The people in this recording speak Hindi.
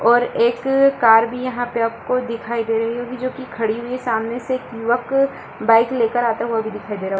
और एक कार भी यहां पे आपको दिखाई दे रही होगी जो की खड़ी हुई है | सामने से एक युवक बाइक ले कर आता हुआ भी दिखाई दे रहा होगा।